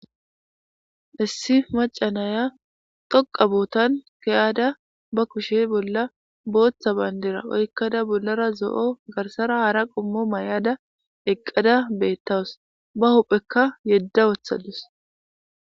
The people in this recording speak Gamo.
issi macanaya toqa bootan keyaada ba kushe bolla booththa bayndera oykkada bollara zo7o garsara hara qommo may7ada eqqada beettawus ba huphekka yedda wothadus